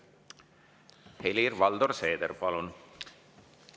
Helir-Valdor Seeder, palun!